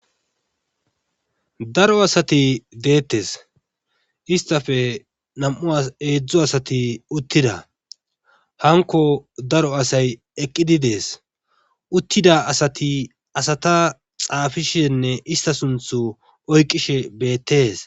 Daro asati deetes.istappe naum'u asa heedzdzu asiat utida hankko daro asay eqqidi des.uttiad asati asata xaafishenne ista sunthu oyqishe beetes.